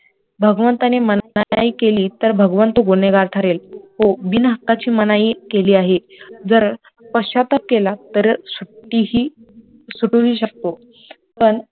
भगवंताने मनाई केली तर भगवंत गुन्हेगार ठरेल तो बिनहक्काची मनाई केली आहे जर पश्चाताप केला तर सुट्टीही, सुटू हि शकतो तर